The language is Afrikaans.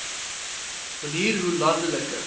manier hoe landelike